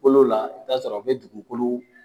Kolo la, i bi taa sɔrɔ u be dugukolo